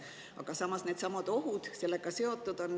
Aga samas on sellega seotud ka ohud.